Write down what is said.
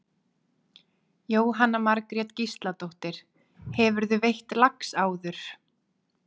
Jóhanna Margrét Gísladóttir: Hefurðu veitt lax áður?